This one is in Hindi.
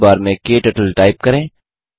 सर्च बार में क्टर्टल टाइप करें